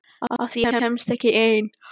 Af því að ég kemst ekki ein.